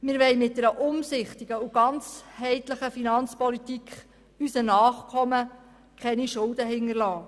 Wir wollen unseren Nachkommen dank einer umsichtigen und ganzheitlichen Finanzpolitik keine Schulden hinterlassen.